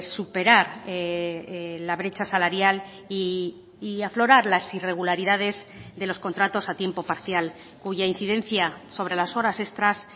superar la brecha salarial y aflorar las irregularidades de los contratos a tiempo parcial cuya incidencia sobre las horas extras